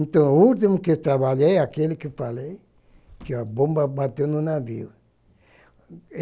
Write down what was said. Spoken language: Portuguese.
Então, o último que trabalhei, aquele que falei, que a bomba bateu no navio.